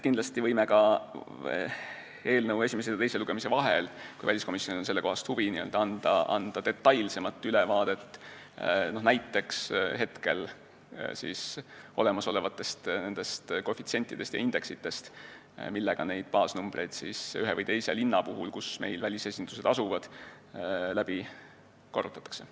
Kindlasti võime eelnõu esimese ja teise lugemise vahel, kui väliskomisjonil on sellekohast huvi, anda detailsemat ülevaadet näiteks hetkel olemasolevatest koefitsientidest ja indeksitest, millega neid baasnumbreid ühe või teise linna puhul, kus meil välisesindused asuvad, läbi korrutatakse.